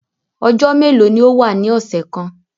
Ọjọ melo ni o wa ni ọsẹ kan?